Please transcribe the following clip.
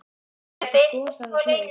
Hvaða áhrif hefur þetta gos á það hlaup?